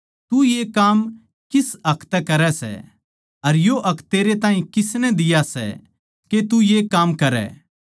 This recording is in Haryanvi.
तू ये काम किस हक तै करै सै अर यो हक तेरै ताहीं किसनै दिया सै के तू ये काम करै